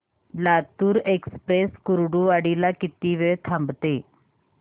Latur express Kurduwadi ला किती वेळ थांबते